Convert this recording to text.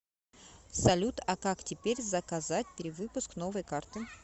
салют а как теперь заказать перевыпуск новой карты